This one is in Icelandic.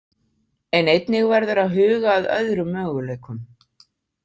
En einnig verður að huga að öðrum möguleikum.